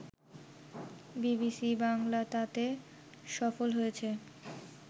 BBC Bangla তাতে সফল হয়েছে